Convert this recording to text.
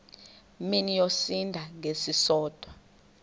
mini yosinda ngesisodwa